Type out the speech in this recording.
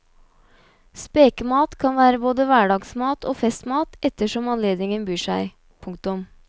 Spekemat kan være både hverdagsmat og festmat ettersom anledningen byr seg. punktum